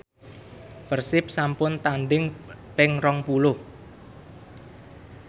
Persib sampun tandhing ping rong puluh